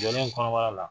Jɔlen kɔnɔbara la